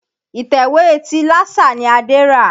Ìtẹ̀wé ti Lásà ni Adé rà.